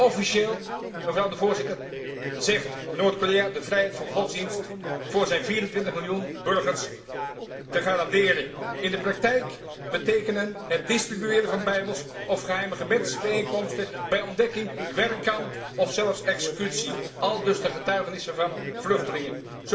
Officieel, mevrouw de Voorzitter, zegt Noord Korea de vrijheid van godsdienst voor zijn 24 miljoen burgers te garanderen. In de praktijk betekenen het distribueren van bijbels of geheime gebedsbijeenkomsten bij ontdekking werkkamp of zelfs executie, aldus de getuigenissen van vluchtelingen.